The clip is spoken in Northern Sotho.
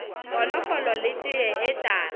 konofolo le teye ye tala